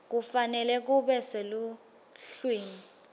kufanele kube seluhlwini